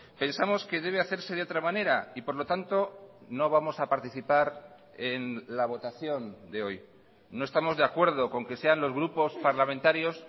pensamos que debe hacerse de otra manera y por lo tanto no vamos a participar en la votación de hoy no estamos de acuerdo con que sean los grupos parlamentarios